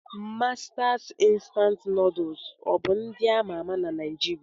Mastas Instant Nuduls ọ bụ nd ama ama na Naijiria?